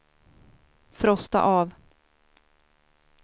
frosta av